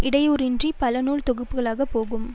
இடையூறின்றி பல நூல் தொகுப்புக்களாக போகும்